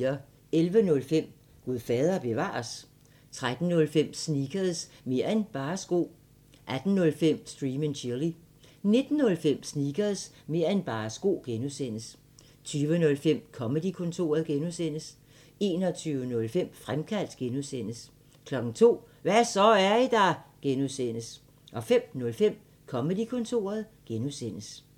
11:05: Gud fader bevares? 13:05: Sneakers – mer' end bare sko 18:05: Stream & Chill 19:05: Sneakers – mer' end bare sko (G) 20:05: Comedy-kontoret (G) 21:05: Fremkaldt (G) 02:00: Hva' så, er I der? (G) 05:05: Comedy-kontoret (G)